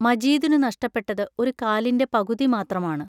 മജീദിനു നഷ്ടപ്പെട്ടത് ഒരു കാലിന്റെ പകുതി മാത്രമാണ്.